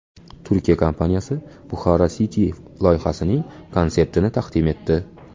Turkiya kompaniyasi Bukhara City loyihasining konseptini taqdim etdi .